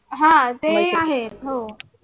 ह ते आहे हो